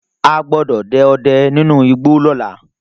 A gbọ́dọ̀ dẹ ọdẹ nínú igbó lóla